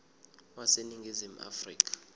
wase ningizimu afrika